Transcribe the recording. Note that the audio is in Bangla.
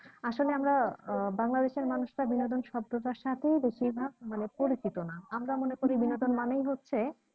আসলে আমরা আহ বাংলাদেশের মানুষরা বিনোদন শব্দটা র সাথেই বেশিরভাগ মানে পরিচিত না আমরা মনে করী বিনোদন মানেই হচ্ছে